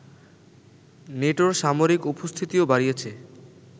নেটোর সামরিক উপস্থিতিও বাড়িয়েছে